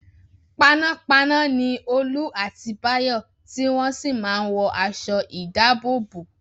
Panápaná ni Olú àti Báyọ̀ tí wọ́n sì máa ń wọ aṣọ-ìdáàbòbò.